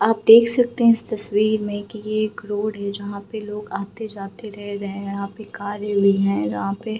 आप देख सकते है इस तस्वीर में की रोड है जो लोग आते-जाते रह रहे हैं यहाँ पे कार है यहाँ पे |